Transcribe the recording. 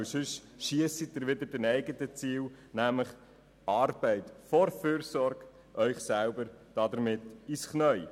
Sonst schiessen Sie sich mit ihrem Ziel «Arbeit vor Fürsorge» selber ins Knie.